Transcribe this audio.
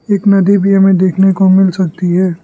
एक नदी भी हमें देखने को मिल सकती है।